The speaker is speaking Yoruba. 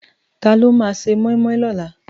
Tàló má sé moimoi lòlá?